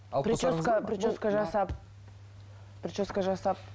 прическа прическа жасап прическа жасап